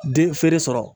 Den feere sɔrɔ